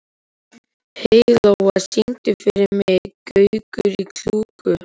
Heiðlóa, syngdu fyrir mig „Gaukur í klukku“.